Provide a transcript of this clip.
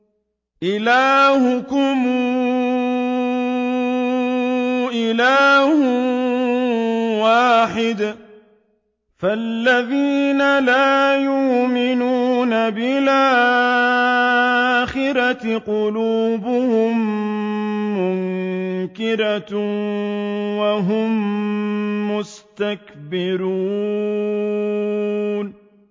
إِلَٰهُكُمْ إِلَٰهٌ وَاحِدٌ ۚ فَالَّذِينَ لَا يُؤْمِنُونَ بِالْآخِرَةِ قُلُوبُهُم مُّنكِرَةٌ وَهُم مُّسْتَكْبِرُونَ